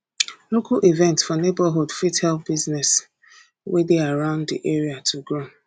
local events for neigbohood fit help business wey dey around di area to grow